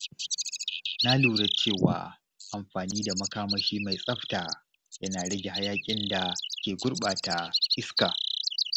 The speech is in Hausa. Na lura cewa amfani da makamashi mai tsafta yana rage hayaƙin da ke gurɓata iska.